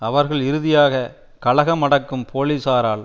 அவர்கள் இறுதியாக கலகம் அடக்கும் போலிசாரால்